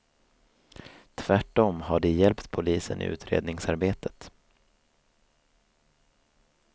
Tvärtom har de hjälpt polisen i utredningsarbetet.